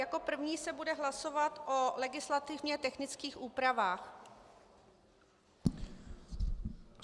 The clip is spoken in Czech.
Jako první se bude hlasovat o legislativně technických úpravách.